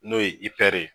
N'o ye ye